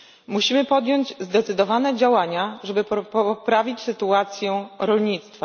Musimy podjąć zdecydowane działania, żeby poprawić sytuacją rolnictwa.